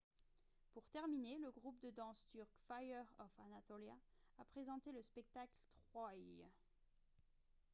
pour terminer le groupe de danse turc fire of anatolia a présenté le spectacle « troy »